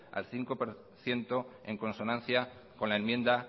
al cinco por ciento en consonancia con la enmienda